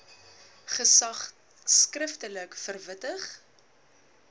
gesag skriftelik verwittig